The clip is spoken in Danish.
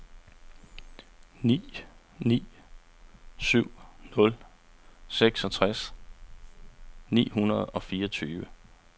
ni ni syv nul seksogtres ni hundrede og fireogtyve